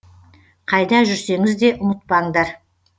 қайда жүрсеңіз де ұмытпаңдар